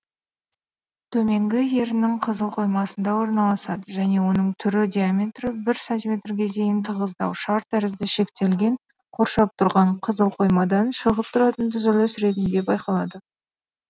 төменгі еріннің қызыл қоймасында орналасады және оның түрі диаметрі бір сантиметрге дейінгі тығыздау шар тәрізді шектелген қоршап тұрған қызыл қоймадан шығып тұратын түзіліс ретінде байқалады